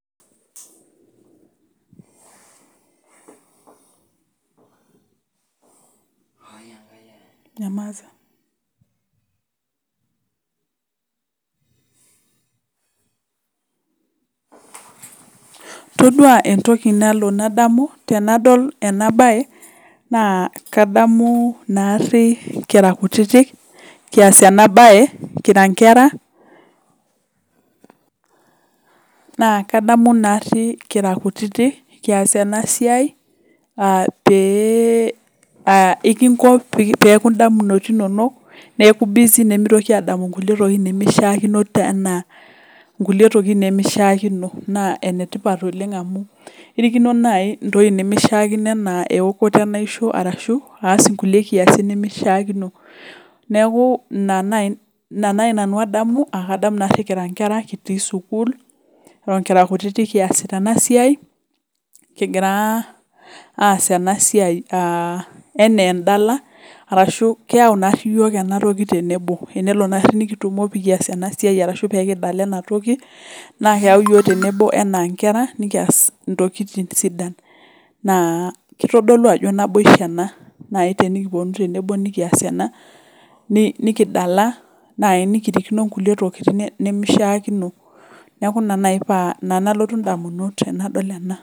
Todua entoki nalo nadomu tenadol ena bae, naa kadamu naari kira kutitik, kias ena bae kira nkera. Naa kadamu naari kira kutiti kias ena esia aaah, pee aaah peeku indamunot inonik neaku busy nemeitoki aadamu kulie tokitin nemeishiaakino. Naa enetipat oleng amuu irikino naaji nemeishiakono ana ewokoto enaisho arashu kulie kiasin. Niaku ina naaji nanu adamu, adamu naari kira ngera kitii sukuul. Eton kira kutitik kiasita ena siai. Kigira aas enasia anaa endala. Arashu keyau naari iyiook ena siai tenebo. Tenelo naari nikitumo pee kias ena siai arashu peyie kidala ena toki, naa keyau iyiook tenebo anaa inkera, nikias intokitin sidan. Naa keitodolu ajo naboisho ena naaji tenikiponu tenebo nikias ena, nikidala naaji nikirikino nkulie tokitin nemeishiaakino neaku ina naaji paa ina nalotu idamunot tenadol ena.